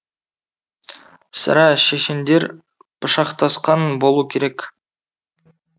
сірә шешендер пышақтасқан болу керек